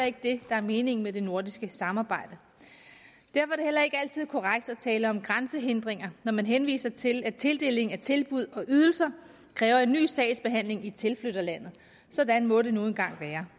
ikke det der er meningen med det nordiske samarbejde derfor er ikke altid korrekt at tale om grænsehindringer når man henviser til at tildelingen af tilbud og ydelser kræver en ny sagsbehandling i tilflytterlandet sådan må det nu engang være